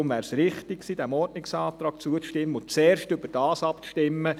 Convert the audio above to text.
Darum wäre es richtig gewesen, diesem Ordnungsantrag zuzustimmen und zuerst darüber abzustimmen.